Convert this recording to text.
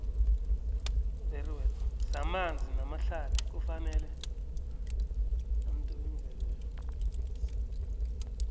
zamanzi namahlathi kufanele